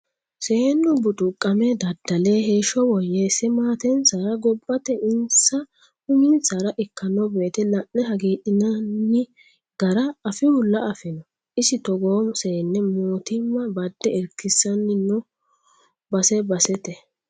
Seennu buxuqame dadda'le heeshsho woyyeese maatensara gobbate insa uminsara ikkano woyte la'ne hagiidhinanni gara afihulla afino, isi togoo seenne mootimma bade irkisanni no base basete.